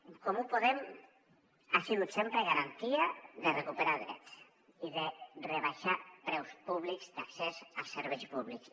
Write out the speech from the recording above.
en comú podem ha sigut sempre garantia de recuperar drets i de rebaixar preus públics d’accés a serveis públics